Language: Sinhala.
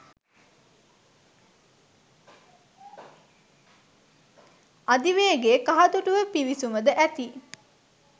අධිවේගේ කහතුඩුව පිවිසුම ද ඇති